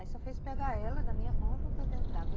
Aí só fez pegar ela da minha mão e botou dentro d'água.